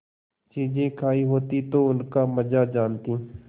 चीजें खायी होती तो उनका मजा जानतीं